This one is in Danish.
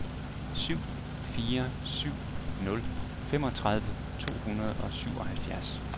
syv fire syv nul femogtredive to hundrede og syvoghalvfjerds